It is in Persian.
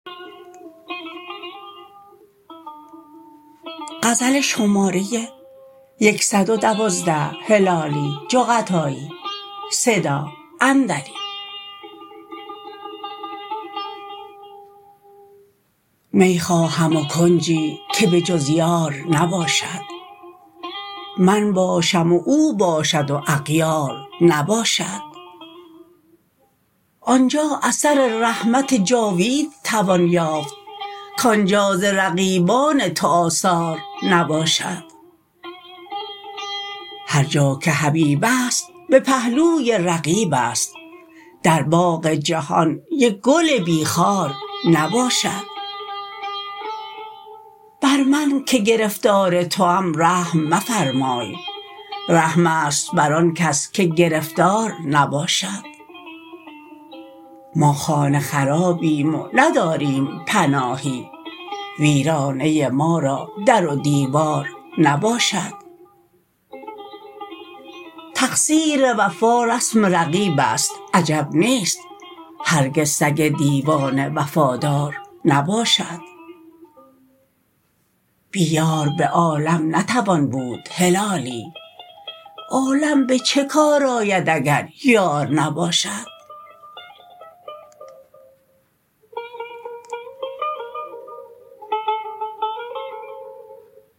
می خواهم و کنجی که به جز یار نباشد من باشم و او باشد و اغیار نباشد آنجا اثر رحمت جاوید توان یافت کآنجا ز رقیبان تو آثار نباشد هرجا که حبیب است به پهلوی رقیب است در باغ جهان یک گل بی خار نباشد بر من که گرفتار توام رحم مفرمای رحم است بر آن کس که گرفتار نباشد ما خانه خرابیم و نداریم پناهی ویرانه ما را در و دیوار نباشد تقصیر وفا رسم رقیب است عجب نیست هرگز سگ دیوانه وفادار نباشد بی یار به عالم نتوان بود هلالی عالم به چه کار آید اگر یار نباشد